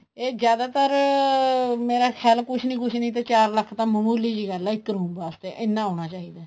ਇਹ ਜਿਆਦਾਤਰ ਮੇਰਾ ਖ਼ਿਆਲ ਕੁੱਛ ਨਹੀਂ ਕੁੱਛ ਨਹੀਂ ਤੇ ਚਾਰ ਲੱਖ਼ ਤਾਂ ਮਹਿਮੁਲੀ ਜੀ ਗੱਲ ਆ ਇੱਕ room ਵਾਸਤੇ ਐਨਾ ਆਉਣਾ ਚਾਹੀਦਾ ਹੈ